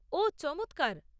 ওহ, চমৎকার।